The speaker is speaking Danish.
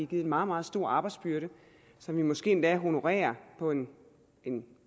dem en meget meget stor arbejdsbyrde som vi måske endda honorerer på en en